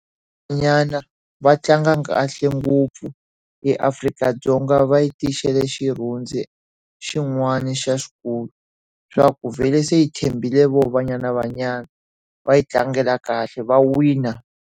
Banyana Banyana va tlanga kahle ngopfu eAfrika-Dzonga va yi tisele xirhundzu xin'wani lexikulu. Swa ku vhele se hi tshembile vona Banyana Banyana, va hi tlangela kahle, va wina.